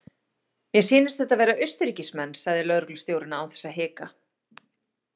Mér sýnist þetta vera Austurríkismenn, sagði lögreglustjórinn án þess að hika.